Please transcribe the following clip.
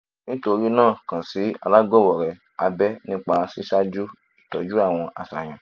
nítorí náà kan si alagbawo rẹ abẹ nipa siwaju itọju awọn aṣayan